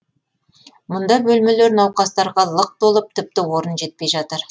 мұнда бөлмелер науқастарға лық толып тіпті орын жетпей жатыр